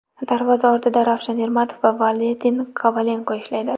Darvoza ortida Ravshan Ermatov va Valentin Kovalenko ishlaydi.